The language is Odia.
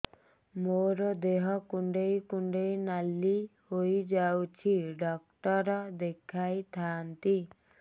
ମୋର ଦେହ କୁଣ୍ଡେଇ କୁଣ୍ଡେଇ ନାଲି ହୋଇଯାଉଛି ଡକ୍ଟର ଦେଖାଇ ଥାଆନ୍ତି